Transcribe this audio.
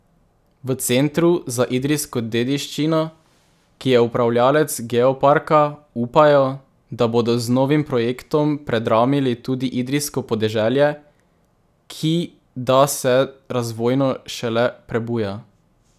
V Centru za idrijsko dediščino, ki je upravljavec geoparka, upajo, da bodo z novim projektom predramili tudi idrijsko podeželje, ki da se razvojno šele prebuja.